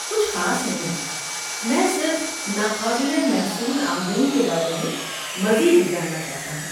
کچھ خاص نہیں، میں صرف ناقابل محصول آمدنی کے بارے میں مزید جاننا چاہتا ہوں۔